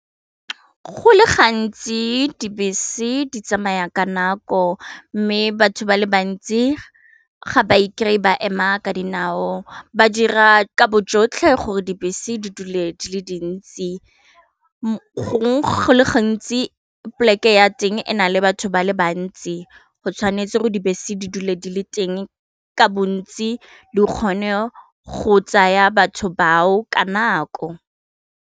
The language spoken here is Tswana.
Go le gantsi dibese di tsamaya ka nako mme batho ba le bantsi ga ba ikry-e ba ema ka dinao ba dira ka bojotlhe gore dibese di dule di le dintsi go le gantsi poleke ya teng e na le batho ba le bantsi go tshwanetse go dibese di dule di le teng ka bontsi di kgone go tsaya batho bao ka nako.